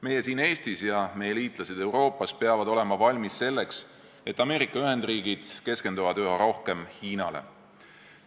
Meie siin Eestis ja meie liitlased Euroopas peame olema valmis selleks, et Ameerika Ühendriigid keskenduvad üha rohkem Hiinale.